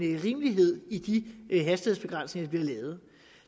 rimelighed i de hastighedsbegrænsninger vi har lavet